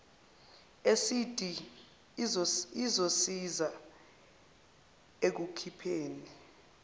esidi izosiza ekukhipheni